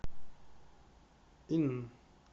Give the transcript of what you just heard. ин